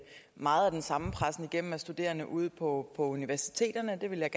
meget af den samme pressen igennem af studerende ude på universiteterne jeg vil